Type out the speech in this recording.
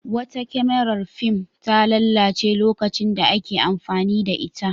Wata kyamarar fim ta lalace lokacin da ake amfani da ita.